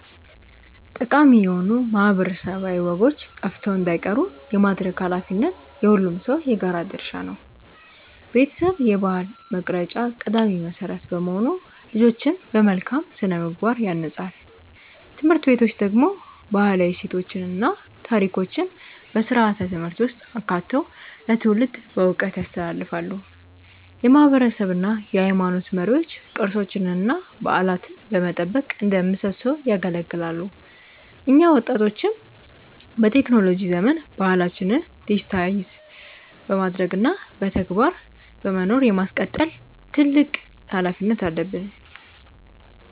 ጠቃሚ የሆኑ ማህበረሰባዊ ወጎች ጠፍተው እንዳይቀሩ የማድረግ ኃላፊነት የሁሉም ሰው የጋራ ድርሻ ነው። ቤተሰብ የባህል መቅረጫ ቀዳሚ መሰረት በመሆኑ ልጆችን በመልካም ስነ-ምግባር ያንጻል። ትምህርት ቤቶች ደግሞ ባህላዊ እሴቶችን እና ታሪኮችን በስርዓተ-ትምህርት ውስጥ አካተው ለትውልድ በዕውቀት ያስተላልፋሉ። የማህበረሰብ እና የሃይማኖት መሪዎች ቅርሶችንና በዓላትን በመጠበቅ እንደ ምሰሶ ያገለግላሉ። እኛ ወጣቶችም በቴክኖሎጂ ዘመን ባህላችንን ዲጂታይዝ በማድረግ እና በተግባር በመኖር የማስቀጠል ትልቅ ኃላፊነት አለብን።